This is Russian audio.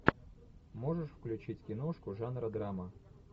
можешь включить киношку жанра драма